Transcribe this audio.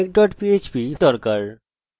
আমরা সফলভাবে জুড়ে গেছি